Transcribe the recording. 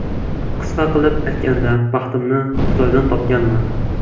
Qisqa qilib aytganda, baxtimni Xitoydan topganman.